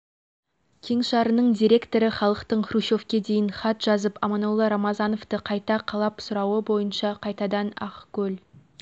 кеңшарының директоры халықтың хрущевке дейін хат жазып аманолла рамазановты қайта қалап сұрауы бойынша қайтадан ақкөл